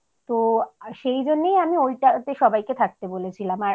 তো সেইজন্যই আমি ওইটাতে সবাইকে থাকতে বলেছিলাম